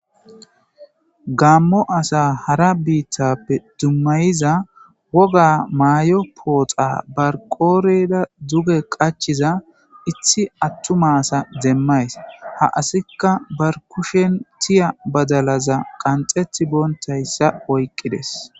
gammo asa hara biittappe dummayiza woga maay7o pooxa barqooreda duge qachiza ithi attu maasa demmays ha asikka barkushen tiya badalaza qanxeti boontayssa oyqqides